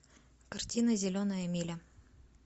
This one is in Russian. картина зеленая миля